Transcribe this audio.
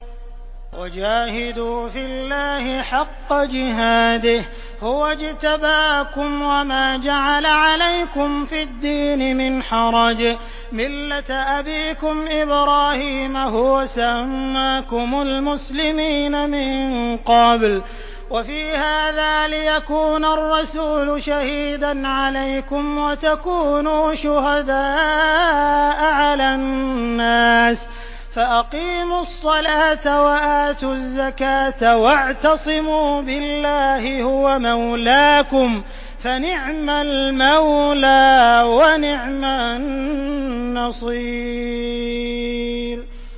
وَجَاهِدُوا فِي اللَّهِ حَقَّ جِهَادِهِ ۚ هُوَ اجْتَبَاكُمْ وَمَا جَعَلَ عَلَيْكُمْ فِي الدِّينِ مِنْ حَرَجٍ ۚ مِّلَّةَ أَبِيكُمْ إِبْرَاهِيمَ ۚ هُوَ سَمَّاكُمُ الْمُسْلِمِينَ مِن قَبْلُ وَفِي هَٰذَا لِيَكُونَ الرَّسُولُ شَهِيدًا عَلَيْكُمْ وَتَكُونُوا شُهَدَاءَ عَلَى النَّاسِ ۚ فَأَقِيمُوا الصَّلَاةَ وَآتُوا الزَّكَاةَ وَاعْتَصِمُوا بِاللَّهِ هُوَ مَوْلَاكُمْ ۖ فَنِعْمَ الْمَوْلَىٰ وَنِعْمَ النَّصِيرُ